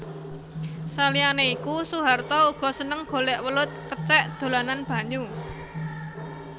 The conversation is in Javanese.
Saliyané iku Soeharto uga seneng golèk welut kecèk dolanan banyu